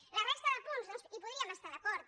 en la resta de punts doncs hi podríem estar d’acord